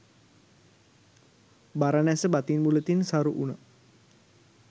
බරණැස බතින් බුලතින් සරු වුණා.